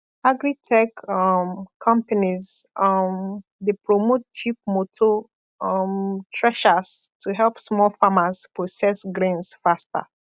agritech um companies um dey promote cheap motor um threshers to help small farmers process grains faster